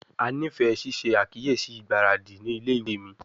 A nifẹ ṣiṣe akiyesi igbaradi ni ile-iwe mi